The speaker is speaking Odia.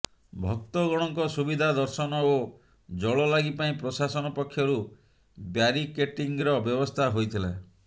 ଭକ୍ତଗଣଙ୍କ ସୁବିଧା ଦର୍ଶନ ଓ ଜଳଲାଗି ପାଇଁ ପ୍ରଶାସନ ପକ୍ଷରୁ ବ୍ୟାରିକେଟିଂର ବ୍ୟବସ୍ଥା ହୋଇଥିଲା